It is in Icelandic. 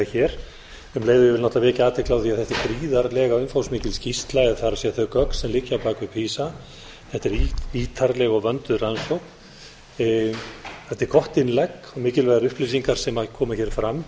ég vil náttúrlega vekja athygli á því að þetta er gríðarlega umfangsmikil skýrsla það er þau gögn sem liggja að baki pisa þetta er ítarleg og vönduð rannsókn þetta er gott innlegg og mikilvægar upplýsingar sem koma hér fram